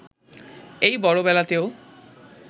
এই বড়বেলাতেও